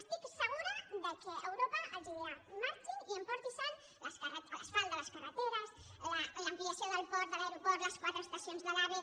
estic segura que europa els dirà marxin i emportin se l’asfalt de les carreteres l’ampliació del port de l’aeroport les quatre estacions de l’ave